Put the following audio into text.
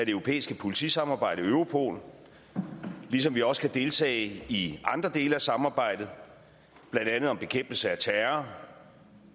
europæiske politisamarbejde europol ligesom vi også kan deltage i andre dele af samarbejdet blandt andet om bekæmpelse af terror